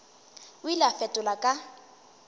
o ile a fetola ka